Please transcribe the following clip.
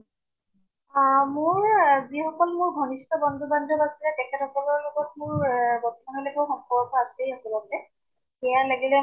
অʼ মোৰ, যি সকল মোৰ ঘনিষ্ট বন্ধু বান্ধব আছে, তেখেত সকলৰ লগত মোৰ বৰ্তমান লৈকে সম্পৰ্ক আছেই আচলতে । সেয়া লাগিলে